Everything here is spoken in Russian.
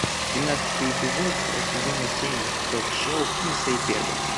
семнадцатый эпизод сезона семь ток шоу финеса и ферба